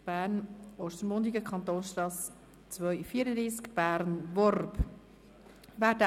Bern/Ostermundigen, Kantonstrasse Nr. 234, Bern–Worb 10271 / Korrektion Bolligenstrasse Nord».